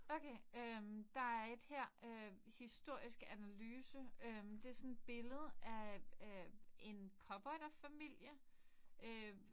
Okay. Øh der er et her øh historisk analyse. Øh det er sådan et billede af øh en cowboyderfamilie øh